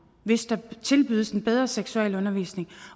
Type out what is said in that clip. hvis der tilbydes en bedre seksualundervisning